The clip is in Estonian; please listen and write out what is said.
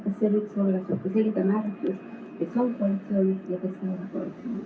Kas see võiks olla siis selge märk, et kes on koalitsioonis ja kes ei ole koalitsioonis?